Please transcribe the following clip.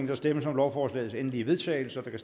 der stemmes om lovforslagets endelige vedtagelse og der